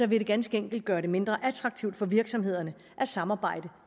vil det ganske enkelt gøre det mindre attraktivt for virksomhederne at samarbejde